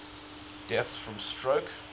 deaths from stroke